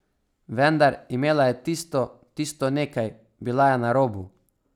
Vendar, imela je tisto, tisto nekaj, bila je na robu.